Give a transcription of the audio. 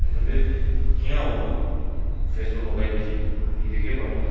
etu vi kenika hovo face toh lukai disey nadikhey bhal pa.